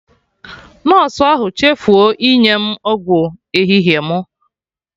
Nọsụ ahụ chefuo inye m ọgwụ ehihie mụ